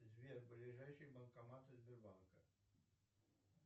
сбер ближайшие банкоматы сбербанка